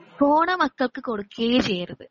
Phone മക്കക്ക് കൊടുക്കുവേ ചെയ്യരുത്.